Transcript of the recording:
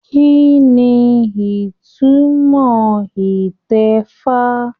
Kínní ìtumọ̀ itẹ̀fa?